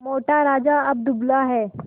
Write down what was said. मोटा राजा अब दुबला है